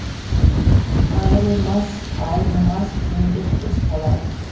айырылмас ай нымас тілеулес дос болайық